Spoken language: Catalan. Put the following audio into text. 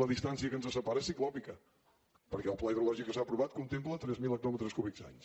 la distància que ens separa és ciclòpia perquè el pla hidrològic que s’ha aprovat contempla tres mil hectòmetres cúbics any